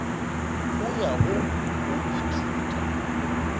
go ya go go ithuta